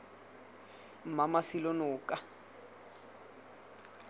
mmamasilanoka